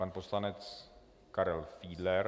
Pan poslanec Karel Fiedler.